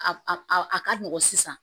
A a ka nɔgɔn sisan